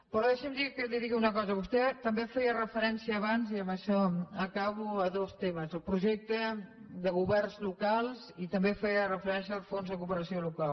però deixi’m que li digui una cosa vostè també feia referència abans i amb això acabo a dos temes al projecte de governs locals i també feia referència al fons de cooperació local